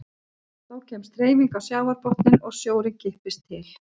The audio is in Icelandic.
Þá kemst hreyfing á sjávarbotninn og sjórinn kippist til.